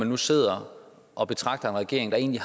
nu sidder og betragter en regering der egentlig